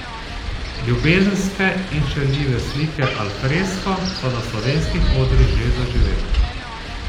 Ljubezenske in šaljive slike al fresco so na slovenskih odrih že zaživele.